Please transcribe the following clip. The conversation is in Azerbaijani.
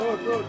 Dur, dur.